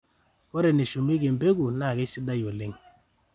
ore eneshumieki embeku naa kesidai oleng